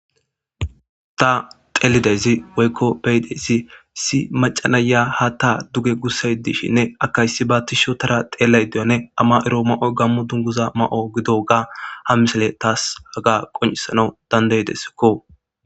Ta xeelidezi woykko beyidesi si macanaya ha ta duge gussay dishinne akayssi baati sho tara xeellay diyone ama ero ma7o gammu dunguza ma7o gido ga ha misele taas haga qoncisana dandaydesikko.